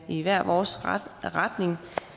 i hver vores retning